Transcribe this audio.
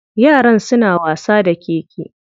Yaran suna wasa da keke.